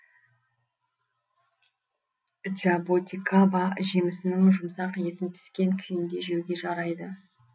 джаботикаба жемісінің жұмсақ етін піскен күйінде жеуге жарайды